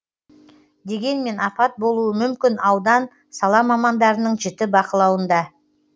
дегенмен апат болуы мүмкін аудан сала мамандарының жіті бақылауында